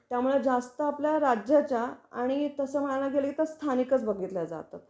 त्यामुळे जास्त आपल्या राज्याच्या आणि तसं म्हणायला गेल तर स्थानिकच बघितल्या जातात.